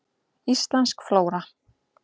Íslensk flóra.